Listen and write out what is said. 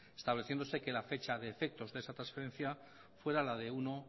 estableciéndose que en la fecha de efectos de esa transferencia fuera la de uno